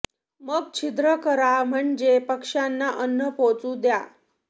मग छिद्र करा म्हणजे पक्ष्यांना अन्न पोहचू द्या